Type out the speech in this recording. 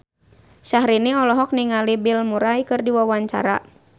Syahrini olohok ningali Bill Murray keur diwawancara